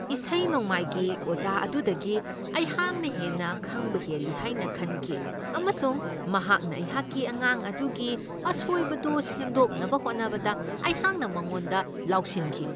ꯏꯁꯩ ꯅꯣꯡꯃꯥꯏꯒꯤ ꯑꯣꯖꯥ ꯑꯗꯨꯗꯒꯤ ꯑꯩꯍꯥꯛꯅ ꯍꯦꯟꯅ ꯈꯪꯕ ꯍꯦꯜꯂꯤ ꯍꯥꯏꯅ ꯈꯟꯈꯤ ꯑꯃꯁꯨꯡ ꯃꯍꯥꯛꯅ ꯑꯩꯍꯥꯛꯀꯤ ꯑꯉꯥꯡ ꯑꯗꯨꯒꯤ ꯑꯁꯣꯏꯕꯗꯨ ꯁꯦꯝꯗꯣꯛꯅꯕ ꯍꯣꯠꯅꯕꯗ ꯑꯩꯍꯥꯛꯅ ꯃꯉꯣꯟꯗ ꯂꯥꯎꯁꯤꯟꯈꯤ ꯫